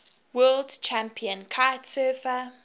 world champion kitesurfer